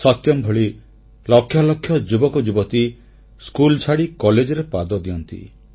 ସତ୍ୟମ୍ ଭଳି ଲକ୍ଷ ଲକ୍ଷ ଯୁବକ ଯୁବତୀ ସ୍କୁଲ ଛାଡ଼ି କଲେଜରେ ପାଦ ଦିଅନ୍ତି